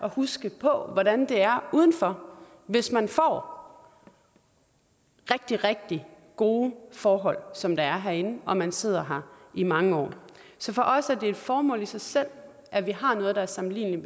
at huske på hvordan det er udenfor hvis man får rigtig rigtig gode forhold som der er herinde og man sidder her i mange år så for os er det et formål i sig selv at vi har noget der er sammenligneligt